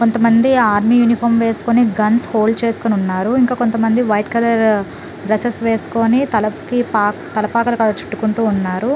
కొంతమంది army uniform వేసుకుని guns hold చేసుకొని ఉన్నారు ఇంకా కొంతమంది వైట్ కలర్ డ్రెస్సె స్ వేసుకొని తలకి పాక తలపాక చుట్టుకుంటూ ఉన్నారు.